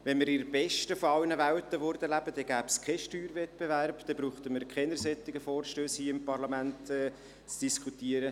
Wenn wir in der besten aller Welten lebten, gäbe es keinen Steuerwettbewerb, und dann bräuchten wir hier im Parlament keine solchen Vorstösse zu diskutieren.